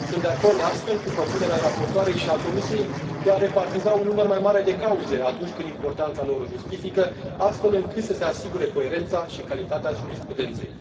Sunt de acord, astfel, cu propunerea raportoarei și a Comisiei de a repartiza un număr mai mare de cauze, atunci când importanța lor o justifică, astfel încât să se asigure coerența și calitatea jurisprudenței.